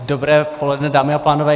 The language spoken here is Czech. Dobré poledne, dámy a pánové.